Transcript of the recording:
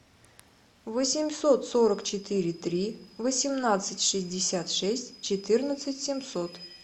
восемьсот сорок четыре три восемнадцать шестьдесят шесть четырнадцать семьсот